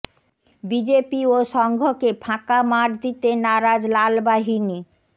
BJP ও সংঘকে ফাঁকা মাঠ দিতে নারাজ লাল বাহিনী